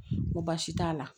N ko baasi t'a la